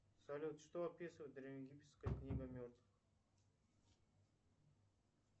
салют что описывает древнеегипетская книга мертвых